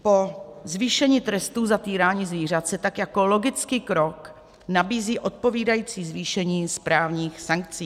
Po zvýšení trestu za týrání zvířat se tak jako logický krok nabízí odpovídající zvýšení správních sankcí.